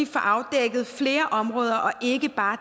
får afdækket flere områder og ikke bare